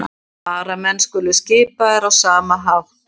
Varamenn skulu skipaðir á sama hátt